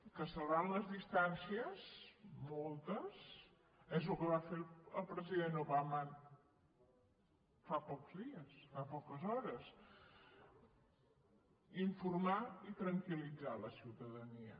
que salvant les distàncies moltes és el que va fer el president obama fa pocs dies fa poques hores in·formar i tranquil·litzar la ciutadania